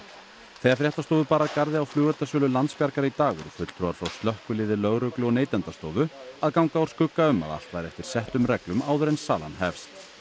þegar fréttastofu bar að garði á flugeldasölu Landsbjargar í dag voru fulltrúar frá slökkviliði lögreglu og Neytendastofu að ganga úr skugga um að allt væri eftir settum reglum áður en salan hefst